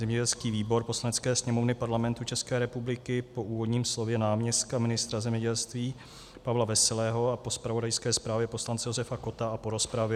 Zemědělský výbor Poslanecké sněmovny Parlamentu České republiky po úvodním slově náměstka ministra zemědělství Pavla Veselého a po zpravodajské zprávě poslance Josefa Kotta a po rozpravě